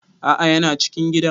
A'a yana cikin gidan